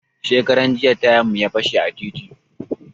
Shekaran jiya tayan mu ya fashe a titi